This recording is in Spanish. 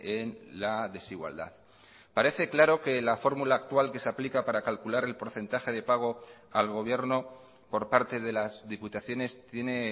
en la desigualdad parece claro que la fórmula actual que se aplica para calcular el porcentaje de pago al gobierno por parte de las diputaciones tiene